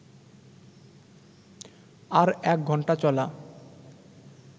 আর এক ঘন্টা চলা